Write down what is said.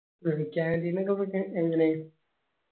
canteen ഒക്കെ ഇപ്പോ എങ്ങനെ?